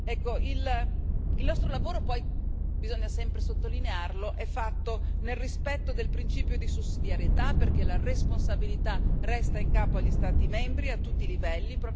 Ecco il nostro lavoro, poi bisogna sempre sottolinearlo, è fatto nel rispetto del principio di sussidiarietà, perché la responsabilità resta in capo agli Stati membri a tutti i livelli.